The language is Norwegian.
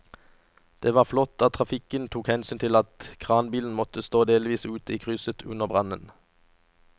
Det var flott at trafikken tok hensyn til at kranbilen måtte stå delvis ute i krysset under brannen.